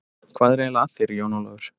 Hvað er eiginlega að þér, Jón Ólafur?